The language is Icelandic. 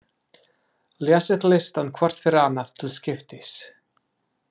Lesið listann hvort fyrir annað til skiptis.